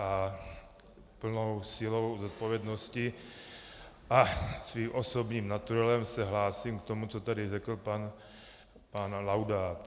A plnou silou zodpovědnosti a svým osobním naturelem se hlásím k tomu, co tady řekl pan Laudát.